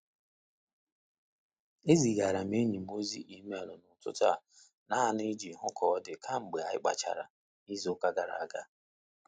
Ezigara m enyi m ozi email n'ụtụtụ a naanụ i ji hu ka ọ dị kamgbe anyi kpachara n'izu ụka gara aga.